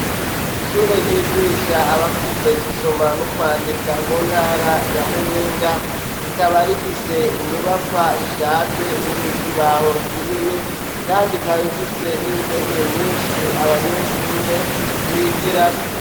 Ishure ryigisha abakuze gusoma n' ukwandika mu ntara ya Muyinga, rikaba rifise inyubakwa ishaje irimwo ikibaho kinini, kandi ikaba ifise n' intebe nyinshi abanyeshure bigirako.